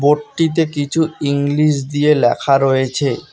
বোর্ডটিতে কিছু ইংলিশ দিয়ে লেখা রয়েছে।